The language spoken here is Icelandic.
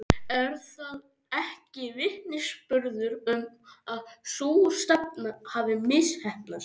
Er það ekki vitnisburður um að sú stefna hafi misheppnast?